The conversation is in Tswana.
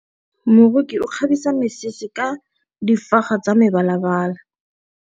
Moroki o kgabisa mesese ka difaga tsa mebalabala.